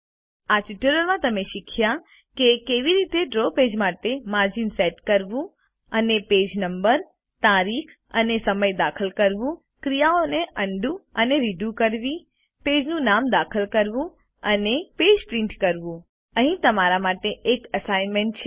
આ ટ્યુટોરીયલમાં તમે શીખ્યા કે કેવી રીતે ડ્રો પેજ માટે માર્જિન સેટ કરવું અને પેજ નંબર તારીખ અને સમય દાખલ કરવું ક્રિયાઓ અન્ડું અને રીડુ કરવી પેજનું નામ બદલવું અને પેજ પ્રિન્ટ કરવું અહીં તમારા માટે એક અસાઈનમેન્ટ છે